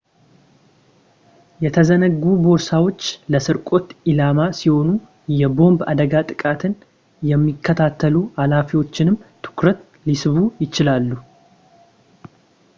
የተዘነጉ ቦርሳዎች ለስርቆት ኢላማ ሲሆኑ የቦምብ አደጋ ጥቃትን የሚከታተሉ ሀላፊዎችንም ትኩረት ሊስቡ ይችላሉ